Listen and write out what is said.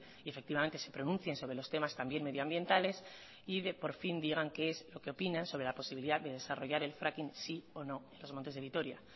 y efectivamente se pronuncien sobre los temas también medioambientales y de que por fin digan qué es lo que opinan sobre la posibilidad de desarrollar el fracking sí o no en los montes de vitoria